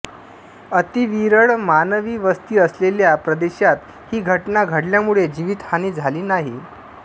अतिविरळ मानवी वस्ती असलेल्या प्रदेशात ही घटना घडल्यामुळे जीवितहानी झाली नाही